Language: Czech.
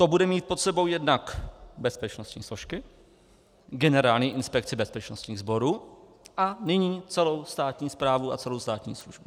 To bude mít pod sebou jednak bezpečnostní složky, Generální inspekci bezpečnostních sborů a nyní celou státní správu a celou státní službu.